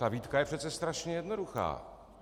Ta výtka je přece strašně jednoduchá.